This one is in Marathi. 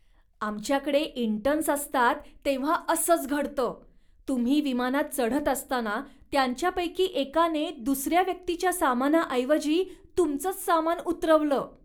आमच्याकडे इंटर्न्स असतात तेव्हा असंच घडतं. तुम्ही विमानात चढत असताना त्यांच्यापैकी एकाने दुसऱ्या व्यक्तीच्या सामनाऐवजी तुमचंच सामान उतरवलं.